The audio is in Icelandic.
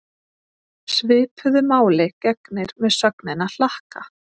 Svipuðu máli gegnir með sögnina hlakka.